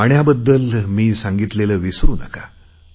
पाण्याबद्दल मी सांगितलेले विसरु नका